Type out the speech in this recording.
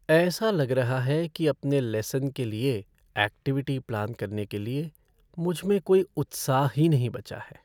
ऐसा लग रहा है कि अपने लेसन के लिए ऐक्टिविटी प्लान करने के लिए, मुझ में कोई उत्साह ही नहीं बचा है।